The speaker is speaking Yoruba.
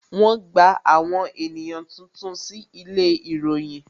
Wọn gba àwọn ènìyàn tuntun sí ilé ìròyìn